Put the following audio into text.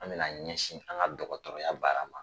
An bɛna ɲɛsin an ka dɔgɔtɔrɔya baara ma